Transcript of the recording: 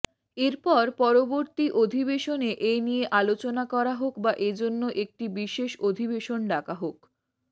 এরপর পরবর্তী অধিবেশনে এ নিয়ে আলোচনা করা হোক বা এজন্য একটি বিশেষ অধিবেশন ডাকা হোক